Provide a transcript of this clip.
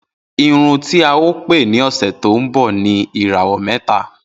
Irun tí a ó pè ní òsẹ̀ tó ń bọ̀ ni 'Ìràwọ̀ mẹ́ta'.